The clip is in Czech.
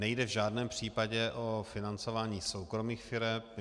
Nejde v žádném případě o financování soukromých firem.